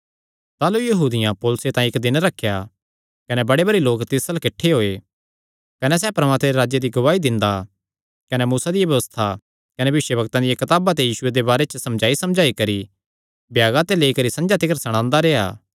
ताह़लू यहूदियां पौलुसे तांई इक्क दिन रखेया कने बड़े भारी लोक तिस अल्ल किठ्ठे होये कने सैह़ परमात्मे दे राज्जे दी गवाही दिंदा कने मूसा दी व्यबस्था कने भविष्यवक्तां दियां कताबां ते यीशुये दे बारे च समझाईसमझाई करी भ्यागा ते लेई करी संझा तिकर सणांदा रेह्आ